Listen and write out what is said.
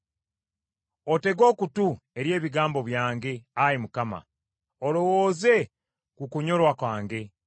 Otege okutu eri ebigambo byange, Ayi Mukama ; olowooze ku kunyolwa kwange.